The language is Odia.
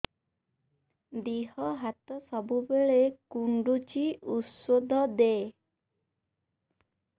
ଦିହ ହାତ ସବୁବେଳେ କୁଣ୍ଡୁଚି ଉଷ୍ଧ ଦେ